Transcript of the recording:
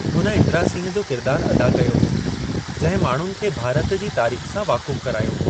हुन इंदिरा सिंह जो किरिदारु अदा कयो हो, जंहिं माण्हुनि खे भारत जी तारीख़ सां वाक़ुफ़ु करयो।